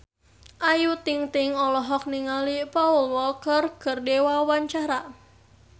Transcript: Ayu Ting-ting olohok ningali Paul Walker keur diwawancara